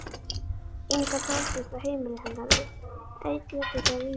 Inga dvaldist á heimili hennar einn vetur þegar Vigdís